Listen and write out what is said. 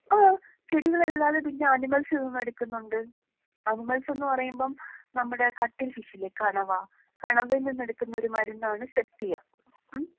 ആഹ് ചെടികളല്ലാതെ പിന്നെ അനിമൽസിൽ നിന്ന് എടുക്കുന്നുണ്ട്.അനിമൽസ് എന്ന് പറയുമ്പം നമ്മുടെ കട്ടിങ് ഫിഷ് ഇല്ലേ കണവാ. കണവയിൽ നിന്ന് എടുക്കുന്ന ഒരു മരുന്നാണ് സെപ്റ്റിയ. ഉം.